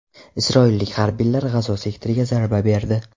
Isroillik harbiylar G‘azo sektoriga zarba berdi.